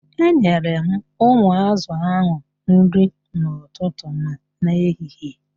Enyere m ụmụ ázụ̀ ahụ nri n'ụtụtụ ma n'ehihie.